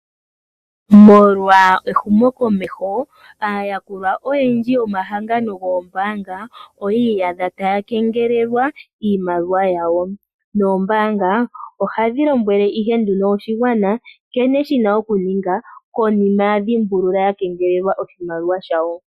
Molwa ehumokomeho, aayakulwa oyendji yomahangano goombaanga oya iyadha taa kengelelwa iimaliwa yawo. Oombaanga ohadhi lombwele ihe nduno oshigwana nkene shina okuninga konima ya dhimbulula ya kengelelwa oshimaliwa shawo.